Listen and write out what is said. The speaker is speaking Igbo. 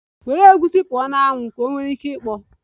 Were egusi pụọ na anwụ! Ka ọ nwere ike ikpọ.